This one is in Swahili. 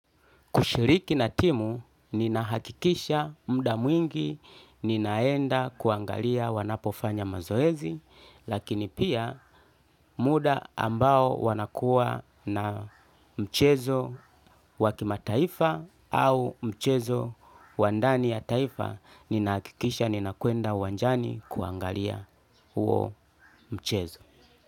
Kushiriki na timu ninahakikisha muda mwingi ninaenda kuangalia wanapofanya mazoezi lakini pia muda ambao wanakuwa na mchezo wa kimataifa au mchezo wa ndani ya taifa ninahakikisha ninakwenda uwanjani kuangalia huo mchezo.